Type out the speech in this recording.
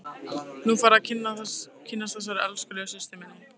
Nú færðu að kynnast þessari elskulegu systur minni!